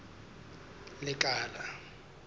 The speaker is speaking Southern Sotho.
lekala